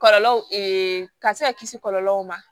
Kɔlɔlɔw ka se ka kisi kɔlɔlɔw ma